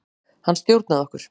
Hann stjórnaði okkur.